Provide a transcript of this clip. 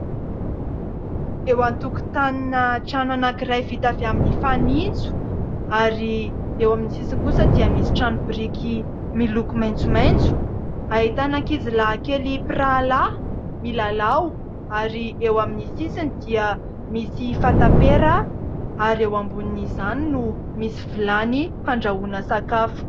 Eo an-tokotanina trano anankiray vita avy amin'ny fanitso ary eo amin'ny sisiny kosa dia misy trano biriky miloko maitsomaitso. Ahitana ankizilahy kely mpirahalahy milalao ary eo amin'ny sisiny dia misy fatam-pera ary eo ambonin'izany no misy vilany fandrahoana sakafo.